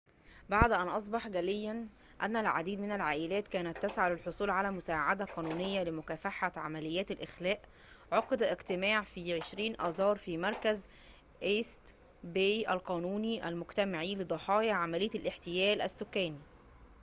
بعد أن أصبح جلياً أن العديد من العائلات كانت تسعى للحصول على مساعدة قانونية لمكافحة عمليات الإخلاء عُقد اجتماع في 20 آذار في مركز إيست باي القانوني المجتمعي لضحايا عملية احتيال الإسكان